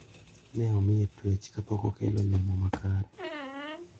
Ne omiye tuech kapok okelo olemo makare.